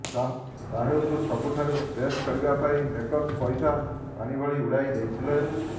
ସାହୋକୁ ସବୁଠାରୁ ବେଷ୍ଟ କରିବା ପାଇଁ ମେକର୍ସ ପଇସା ପାଣି ଭଳି ଉଡାଇ ଦେଇଥିଲେ